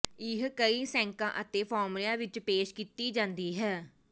ਇਹ ਕਈ ਸੈਂਕਾਂ ਅਤੇ ਫਾਰਮੂਲਿਆਂ ਵਿਚ ਪੇਸ਼ ਕੀਤੀ ਜਾਂਦੀ ਹੈ